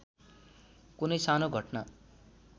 कुनै सानो घटना